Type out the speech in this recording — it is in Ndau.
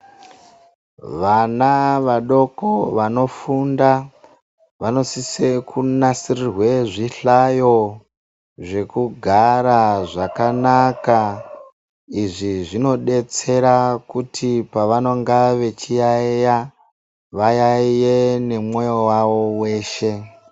Vana vadoko vanofunda vanosise kunasirirwa zvihlayo zvekugara zvakanaka. Izvi zvinodetsera kuti pavanonga vechiyaiya vayaiye nemwoyo wavo weshe.